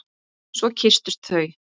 Svo kysstust þau.